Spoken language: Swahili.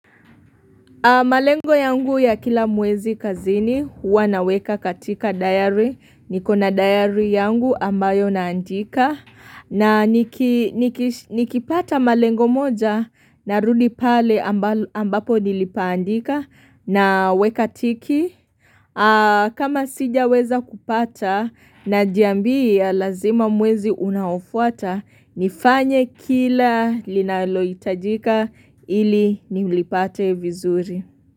Malengo yangu ya kila mwezi kazini, huwa naweka katika diary, nikona diary yangu ambayo naandika, na nikipata malengo moja na rudipale ambapo nilipaandika na weka tiki. Kama sija weza kupata na jiambi ya lazima mwezi unaofuata nifanye kila linaloitajika ili ni ulipate vizuri.